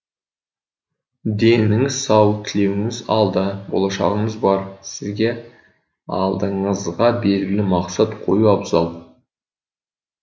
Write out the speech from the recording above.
деніңіз сау тілеуіңіз алда болашағыңыз бар сізге алдыңызға белгілі мақсат қою абзал